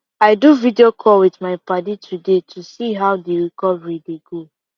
i do video call with my padi today to see how the recovery dey go